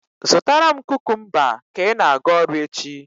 Zụtara m kukumba ka ị na-aga ọrụ echi.